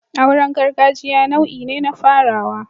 Auren gargajiya nau'i ne na farawa